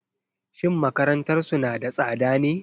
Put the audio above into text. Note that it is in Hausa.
Shin makarantarsu na da tsada ne?